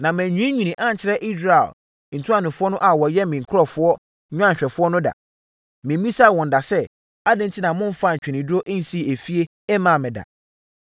Na mannwiinwii ankyerɛ Israel ntuanofoɔ no a wɔyɛ me nkurɔfoɔ nnwanhwɛfoɔ no da. Memmisaa wɔn da sɛ: “Adɛn enti na momfaa ntweneduro nsii efie mmaa me da?” ’